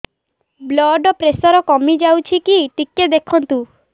blood pressure କମି ଯାଉଛି କି ଟିକେ ଦେଖନ୍ତୁ